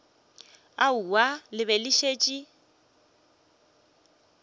aowa le be le šetše